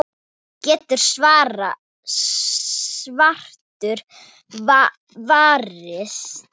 getur svartur varist.